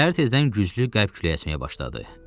Səhər tezdən güclü qərb küləyi əsməyə başladı.